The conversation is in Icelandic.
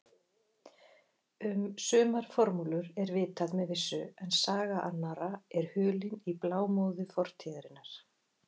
Um sumar formúlur er vitað með vissu en saga annarra er hulin í blámóðu fortíðarinnar.